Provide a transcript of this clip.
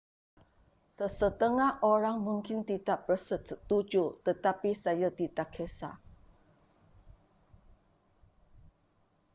sesetengah orang mungkin tidak bersetuju tetapi saya tidak kisah